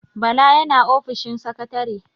Bala yana ofishin sakatare.